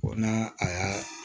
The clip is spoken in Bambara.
n'a a y'a